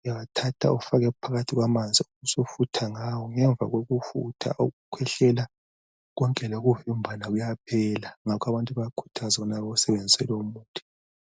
uyawathatha ufake phakathi kwamanzi ubusu futha ngawo ngemva kokufutha ukukhwehlela konke lokuvimbana kuyaphela ngakho abantu bayakhuthazwa ukubana bewusebenzise lowu muthi.